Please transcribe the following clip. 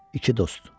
İki dost.